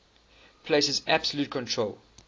places absolute control